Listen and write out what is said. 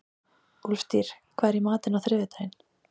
Úlftýr, hvað er í matinn á þriðjudaginn?